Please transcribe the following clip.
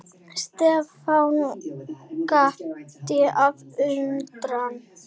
Stefán gapti af undrun.